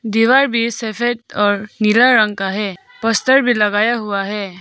दीवार में सफेद और नीला रंग का है पोस्टर भी लगाया हुआ है।